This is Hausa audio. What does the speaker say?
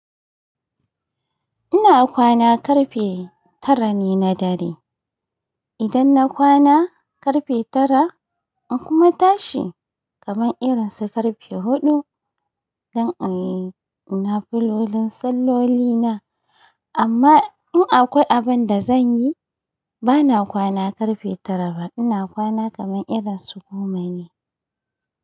Ina kwana ƙarfe tara ne na dare. Idan na kwana ƙarfe tara, in kuma tashi kaman irin su ƙarfe huɗu don in yi ina filolin salloli na. Amma in akwai abin da zan yi, bana kwana ƙarfe tara ba, ina kwana kaman irin su goma ne.